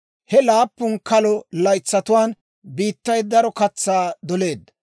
He laappun kalo laytsatuwaan biittay daro katsaa doleedda.